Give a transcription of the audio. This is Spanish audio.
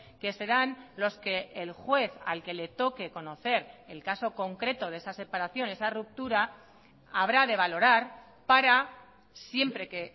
que serán los que el juez al que le toque conocer el caso concreto de esa separación esa ruptura habrá de valorar para siempre que